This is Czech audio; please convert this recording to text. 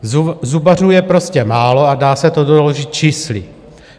Zubařů je prostě málo a dá se to doložit čísly.